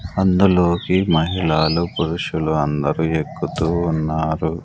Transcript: అందులోకి మహిళలు పురుషులు అందరూ ఎక్కుతూ ఉన్నారు.